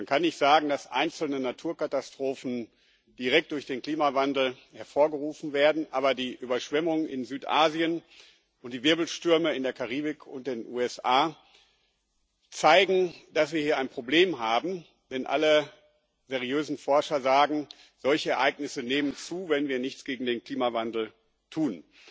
Man kann nicht sagen, dass einzelne Naturkatastrophen direkt durch den Klimawandel hervorgerufen werden, aber die Überschwemmungen in Südasien und die Wirbelstürme in der Karibik und den USA zeigen, dass wir hier ein Problem haben, denn alle seriösen Forscher sagen Solche Ereignisse nehmen zu, wenn wir nichts gegen den Klimawandel tun.